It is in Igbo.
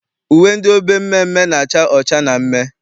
Uwe ndị obe mmeemmee na-acha ọcha na mmee.